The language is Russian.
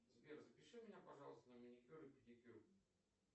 сбер запиши меня пожалуйста на маникюр и педикюр